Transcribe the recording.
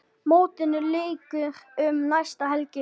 Mótinu lýkur um næstu helgi.